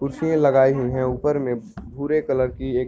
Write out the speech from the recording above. कुर्सियां लगाई हुई है ऊपर मे भूरे कलर की एक --